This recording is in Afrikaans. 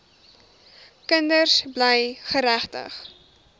kinders bly geregtig